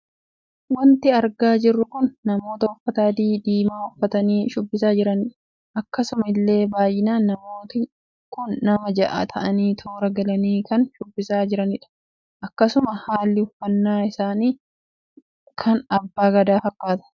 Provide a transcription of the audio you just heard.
Waanti argaa jirru kun namoota uffata adiif dimaa uffatanii shubbisaa jiranidha. akkasuma illee baay'inaan namooti kun nama ja'a taa'anii toora galanii kan shubbisaa jiranidha. akkasuma haalli uffanna isaanii kan abbaa gadaa fakkaata.